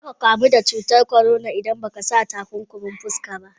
Za ka kamu da cutar corona idan ba ka sa takunkumin fuska ba.